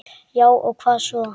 Já og hvað svo!